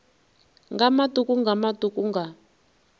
nga matuku nga matuku nga